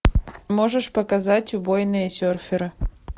можешь показать убойные серферы